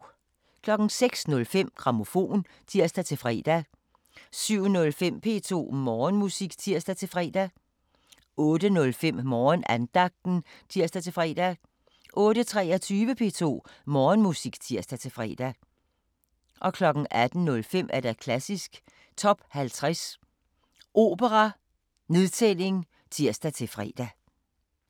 06:05: Grammofon (tir-fre) 07:05: P2 Morgenmusik (tir-fre) 08:05: Morgenandagten (tir-fre) 08:23: P2 Morgenmusik (tir-fre) 18:05: Klassisk Top 50 Opera: Nedtælling (tir-fre)